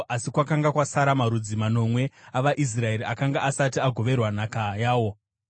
Asi kwakanga kwasara marudzi manomwe avaIsraeri akanga asati agoverwa nhaka yawo.